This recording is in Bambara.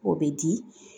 O bɛ di